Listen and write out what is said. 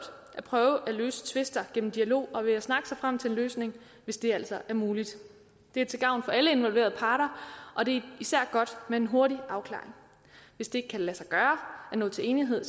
at prøve at løse tvister gennem dialog og ved at snakke sig frem til en løsning hvis det altså er muligt det er til gavn for alle involverede parter og det er især godt med en hurtig afklaring hvis det ikke kan lade sig gøre at nå til enighed